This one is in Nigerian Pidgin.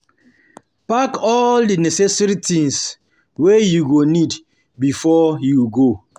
Park all di necessary things wey you go need before you go